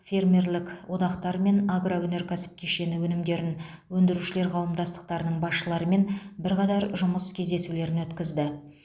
фермерлік одақтар мен агроөнеркәсіп кешені өнімдерін өндірушілер қауымдастықтарының басшыларымен бірқатар жұмыс кездесулерін өткізді